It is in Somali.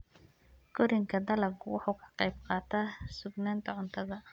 Koriinka dalaggu wuxuu ka qayb qaataa sugnaanta cuntada.